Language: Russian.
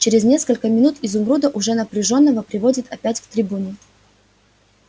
через несколько минут изумруда уже напряжённого приводят опять к трибуне